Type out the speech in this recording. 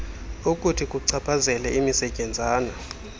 okuthi kuchaphazele imisetyenzana